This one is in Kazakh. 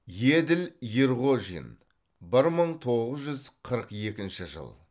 еділ ерғожин бір мың тоғыз жүз қырық екінші жыл